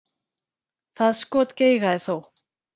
Það skot geigaði þó.